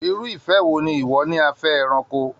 Irú ìfẹ́ wo ni ìwọ ní a fẹ́ ẹranko?